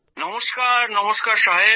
নমস্কার নমস্কার সাহেব